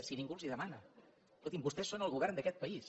si ningú els ho demana escolti’m vostès són el govern d’aquest país